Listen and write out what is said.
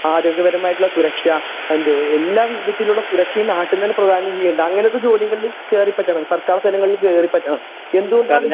ആരോഗ്യ പരമായിട്ടുള്ള സുരക്ഷാ എന്തു എല്ലാ വിധത്തിലുള്ള സുരക്ഷയും നാട്ടിൽ നിന്ന് തന്നെ പ്രാധാനം ചെയ്യുന്നുണ്ട് അങ്ങനത്തെ ജോലികളില് കേറി പറ്റണം സർക്കാർ തലങ്ങളില് കേറി പറ്റണം എന്തു കൊണ്ട്